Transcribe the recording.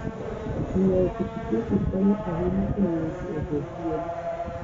Ng'iewo pikipiki konyo ahinya e miyo ji obed thuolo.